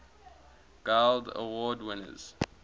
guild award winners